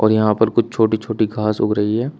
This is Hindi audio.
और यहां पर कुछ छोटी छोटी घास उग रही है।